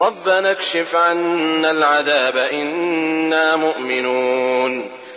رَّبَّنَا اكْشِفْ عَنَّا الْعَذَابَ إِنَّا مُؤْمِنُونَ